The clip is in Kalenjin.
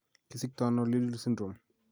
Kisiktoono Liddle syndrome?